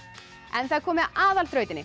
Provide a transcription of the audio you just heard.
það er komið að